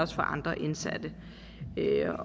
for andre indsatte